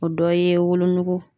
O dɔ ye wolonugu